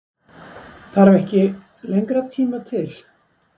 Það þarf ekki lengri tíma til?